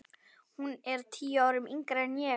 Hún er tíu árum yngri en